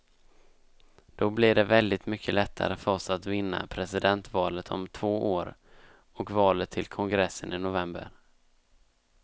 Då blir det väldigt mycket lättare för oss att vinna presidentvalet om två år och valet till kongressen i november.